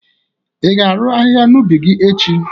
i ga-arụ ahịhịa n'ubi gi echi?